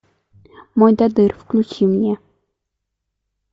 мойдодыр включи мне